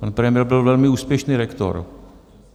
Pan premiér byl velmi úspěšný rektor.